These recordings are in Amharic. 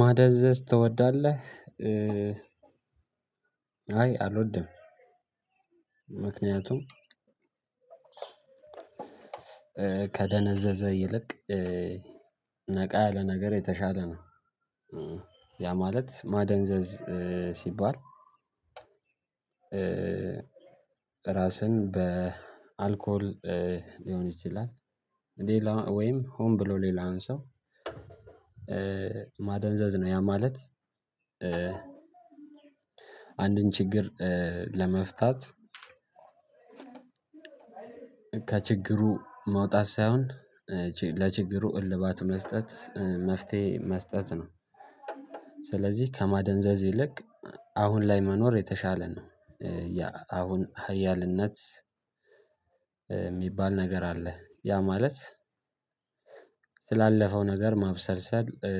ማደዘዝ ትወዳለህ? እ አይ አልወድም። ምክንያቱም ከደነዘዘ ይልቅ ነቃ ያለ ነገር የተሻለ ነው። እ ያ ማለት ማደንዘዝ እ ሲባል። ራስን በአልኮል ሊሆን ይችላል ሌላ ወይም ሆን ብሎ ሌላውን ሰው ማደንዘዝ ነው ያ ማለት። አንድን ችግር እ ለመፍታት ከችግሩ መውጣት ሳይሆን ለችግሩ እልባት መስጠት መፍትሄ መስጠት ነው። ስለዚህ ከማደንዘዝ ይልቅ አሁን ላይ መኖር የተሻለ ነው። እ ያ አሁን ሀያልነት ሚባል ነገር አለ ያ ማለት ስላለፈው ነገር ማብሰልሰል እ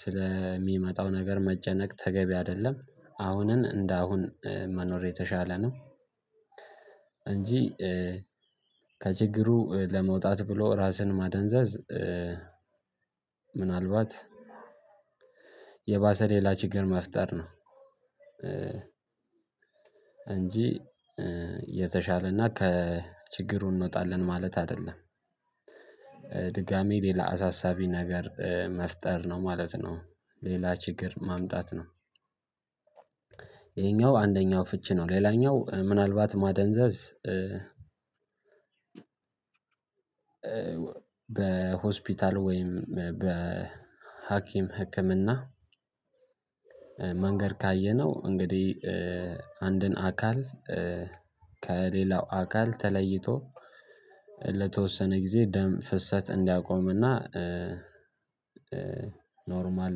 ስለሚመጣው ነገር መጨነቅ ተገቢ አይደለም አሁን እንደ አሁን መኖር የተሻለ ነው። እንጂ እ ከችግሩ ለመውጣት ብሎ ራስን ማደንዘዝ ምናልባት የባሰ ሌላ ችግር መፍጠር ነው። እንጂ የተሻለና ከችግሩ እንወጣለን ማለት አይደለም። ድጋሚ ሌላ አሳሳቢ ነገር መፍጠር ነው ማለት ነው። ሌላ ችግር ማምጣት ነው። ይሄኛው አንደኛው ፍቺ ነው ሌላኛው ምናልባት ማደንዘዝ እ በ ሆስፒታል ወይም በ ሀኪም ህክምና መንገድ ካየነው እንግዲህ እ አንድን አካል ከሌላው አካል ተለይቶ ለተወሰነ ጊዜ ደም ፍሰት እንዲያቆምና ኖርማል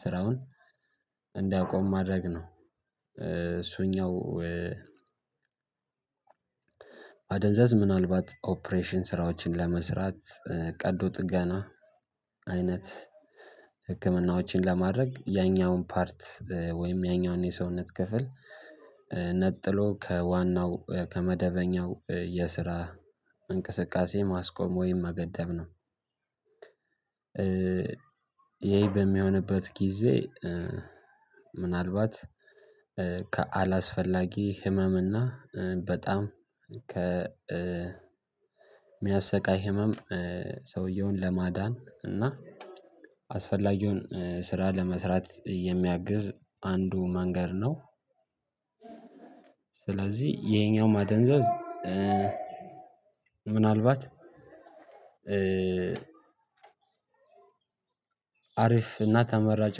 ስራውን እንዳያቆም ማድረግ ነው። እሱኛው እ ማደንዘዝ ምናልባት ኦፕሬሽን ስራዎችን ለመስራት ቀዶ ጥገና አይነት ህክምናዎችን ለማድረግ ያኛውን ፓርት ወይም ያኛውን የሰውነት ክፍል ነጥሎ ከዋናው ከመደበኛው የስራ እንቅስቃሴ ማስቆም ወይም መገደብ ነው። ይሄ በሚሆንበት ጊዜ እ ምናልባት ከአላስፈላጊ ህመም እና በጣም ከ እ ሚያሰቃይ ህመም እ ሰውየውን ለማዳን እና አስፈላጊውን እ ስራ ለመስራት የሚያግዝ አንዱ መንገድ ነው። ስለዚህ ይሄኛው ማደንዘዝ ምናልባት አሪፍ እና ተመራጭ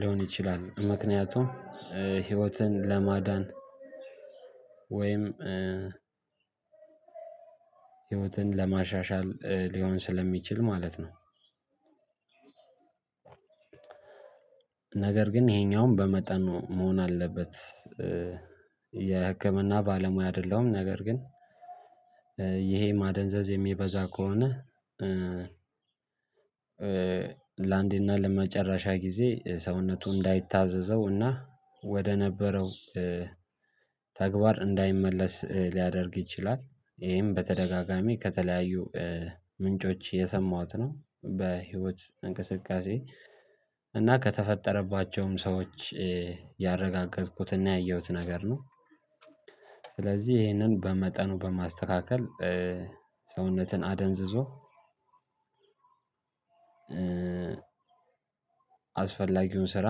ሊሆን ይችላል ምክንያቱም እ ህይወትን ለማዳን ወይም እ ህይወትን ለማሻሻል ሊሆን ስለሚችል ማለት ነው። ነገር ግን ይሄኛውን በመጠኑ መሆን አለበት እ የህክምና ባለሙያ አይደለሁም። ነገር ግን ይሄ ማደንዘዝ የሚበዛ ከሆነ ለአንዴና ለመጨረሻ ጊዜ ሰውነቱ እንዳይታዘዘው እና ወደ ነበረው ተግባር እንዳይመለስ ሊያደርግ ይችላል። ይሄም በተደጋጋሚ ከተለያዩ ምንጮች የሰማሁት ነው በህይወት እንቅስቃሴ እና ከተፈጠረባቸውም ሰዎች ያረጋገጥኩትና ያየሁት ነገር ነው። ስለዚህ ይሄንን በመጠኑ በማስተካከል ሰውነትን አደንዝዞ አስፈላጊውን ስራ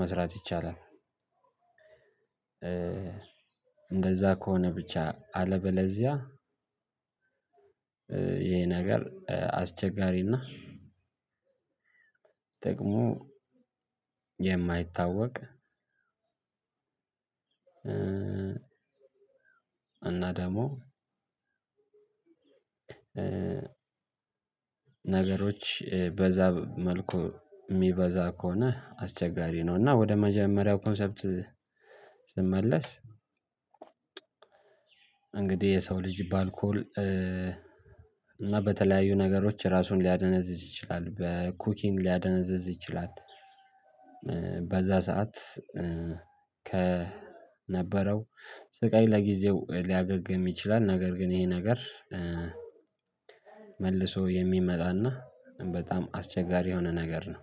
መስራት ይቻላል። እንደዛ ከሆነ ብቻ አለበለዚያ ይሄ ነገር አስቸጋሪና እና ደግሞ የማይታወቅ እና ደግሞ ነገሮች በዛ መልኩ ሚበዛ ከሆነ አስቸጋሪ ነው። እና ወደ መጀመሪያው ኮንሰፕት ስመለስ እንግዲህ የሰው ልጅ ባልኮል እና በተለያዩ ነገሮች ራሱን ሊያደነዝዝ ይችላል በኩኪን ሊያደነዝዝ ይችላል። በዛ ሰዓት ከነበረው ስቃይ ለጊዜው ሊያገግም ይችላል ነገር ግን ይሄ ነገር መልሶ የሚመጣና በጣም አስቸጋሪ የሆነ ነገር ነው።